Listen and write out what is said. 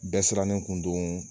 Bɛɛ sirannen kun don